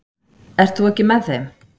Ert þú ekki með þeim?